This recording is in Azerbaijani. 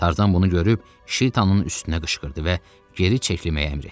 Tarzan bunu görüb Şitanın üstünə qışqırdı və geri çəkilməyi əmr etdi.